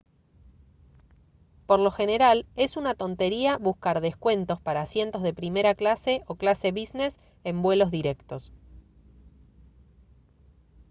por lo general es una tontería buscar descuentos para asientos de primera clase o clase business en vuelos directos